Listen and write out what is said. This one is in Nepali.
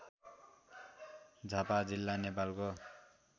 झापा जिल्ला नेपालको